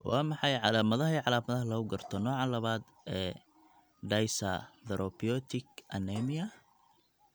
Waa maxay calaamadaha iyo calaamadaha lagu garto nooca labaaad ee dyserythropoietic anemia?